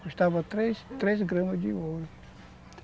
custava três três gramas de ouro.